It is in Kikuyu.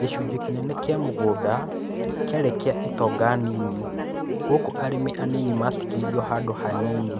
Gĩcunjĩ kĩnene kĩa mũgũnda kĩarĩ kĩa itonga nini, gũkũ arĩmi anini magĩtigĩrwo handũ hanini.